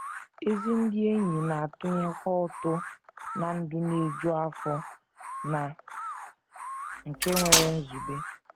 Ezi ndị enyi na - atụnyekwa ụtụ ná ndụ na - eju afọ na nke nwere nzube.